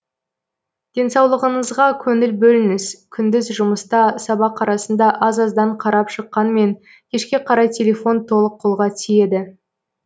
денсаулығыңызға көңіл бөліңіз күндіз жұмыста сабақ арасында аз аздан қарап шыққанмен кешке қарай телефон толық қолға тиеді